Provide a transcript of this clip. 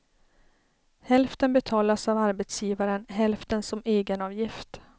Hälften betalas av arbetsgivaren, hälften som egenavgift.